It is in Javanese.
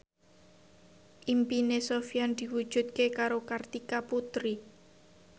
impine Sofyan diwujudke karo Kartika Putri